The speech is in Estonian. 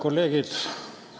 Kolleegid!